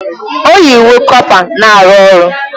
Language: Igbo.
O yi uwe kọpa na-arụ ọrụ